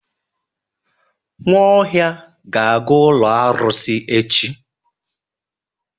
Nwaohia ga-aga ụlọ arụsị echi.